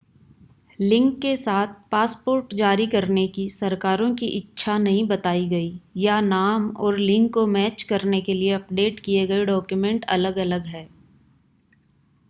लिंग के साथ पासपोर्ट जारी करने की सरकारों की इच्छा नहीं बताई गई या नाम और लिंग को मैच करने के लिए अपडेट किए गए डॉक्यूमेंट अलग-अलग हैं